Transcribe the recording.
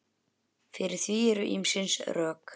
Fyrir því eru ýmis rök.